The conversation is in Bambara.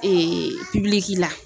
Ee piliki la